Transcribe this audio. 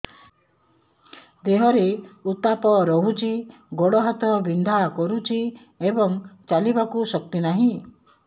ଦେହରେ ଉତାପ ରହୁଛି ଗୋଡ଼ ହାତ ବିନ୍ଧା କରୁଛି ଏବଂ ଚାଲିବାକୁ ଶକ୍ତି ନାହିଁ